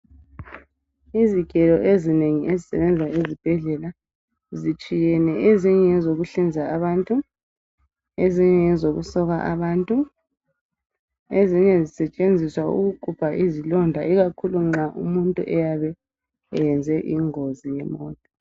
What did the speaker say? Izigelo ezinengi ezisebenza ezibhedlela zitshiyene . Ezinye ngezokuhlinza abantu .Ezinye ngezokusoka abantu. Ezinye zisetshenziswa ukugubha izilonda ikakhulu nxa umuntu eyabe eyenze ingozi yemota .